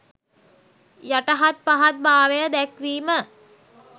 යටහත් පහත් භාවය දැක්වීම